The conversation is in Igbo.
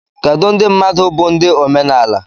Kedu ndị mmadụ bụ ndị omenala?